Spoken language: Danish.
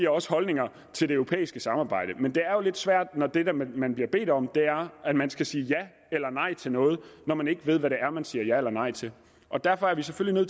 også holdninger til det europæiske samarbejde men det er jo lidt svært når det det man bliver bedt om er at man skal sige ja eller nej til noget når man ikke ved hvad det er man siger ja eller nej til og derfor er vi selvfølgelig